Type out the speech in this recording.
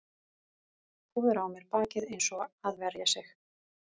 Púðra á mér bakið eins og að verja sig